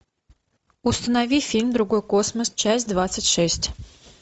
установи фильм другой космос часть двадцать шесть